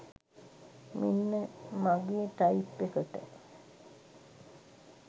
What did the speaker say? මෙන්න මගේ ටයිප් එකට